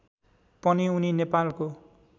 पनि उनी नेपालको